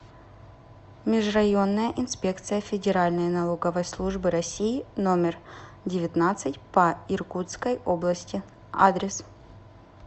межрайонная инспекция федеральной налоговой службы россии номер девятнадцать по иркутской области адрес